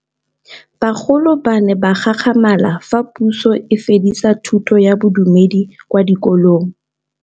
Bagolo ba ne ba gakgamala fa Pusô e fedisa thutô ya Bodumedi kwa dikolong.